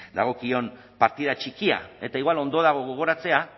dagokion partida txikia eta igual ondo dago gogoratzea